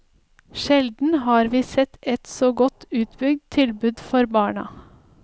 Sjelden har vi sett et så godt utbygd tilbud for barna.